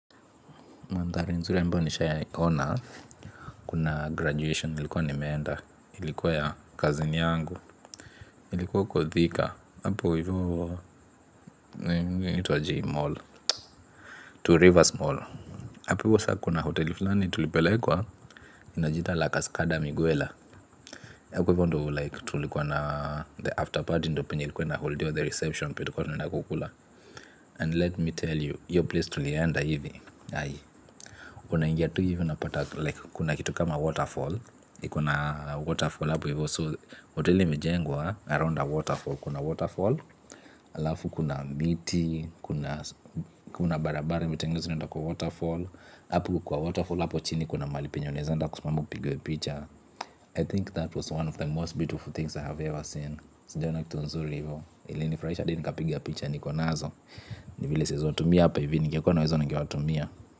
Mandhari nzuri ambayo nishai ya ona kuna graduation ilikuwa nimeenda ilikuwa ya cousin yangu ilikuwa huko thika hapo hivyo inaitwaje hii mall two rivers mall hapo hivyo sasa kuna hoteli fulani tulipelekwa inajiita la cascada miguela na huko hivyo ndio like tulikuwa na after party ndo penye ilikuwa na holdiwa the reception ndio tulikuwa tunaenda kukula and let me tell you hiyo place tulienda hivi unaingia tu hivi unapata kuna kitu kama waterfall iko na waterfall hapo hivo so hoteli imejengwa around a waterfall kuna waterfall hapo kwa waterfall hapo chini kuna mahali penye unaweza enda kusimama upigwe picha I think that was one of the most beautiful things I have ever seen sijawai ona kitu nzuri hivyo ilinifurahisha hadi nikapiga picha niko nazo ni vile siwezi watumia hapa hivi ningekuwa nazo ningewatumia.